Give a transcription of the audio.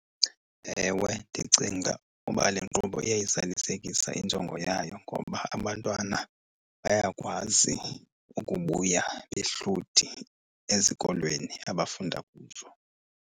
Ewe, ndicinga uba le nkqubo iyayizalisekisa injongo yayo ngoba abantwana bayakwazi ukubuya behluthi ezikolweni abafunda kuzo.